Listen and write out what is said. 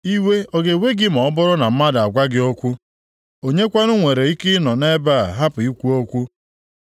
“Iwe ọ ga-ewe gị ma ọ bụrụ na mmadụ agwa gị okwu? Onye kwanụ nwere ike ịnọ nʼebe a hapụ ikwu okwu?